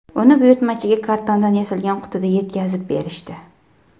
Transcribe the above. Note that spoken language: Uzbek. Uni buyurtmachiga kartondan yasalgan qutida yetkazib berishdi.